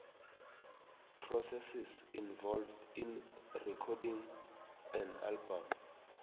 processes involved in recording an album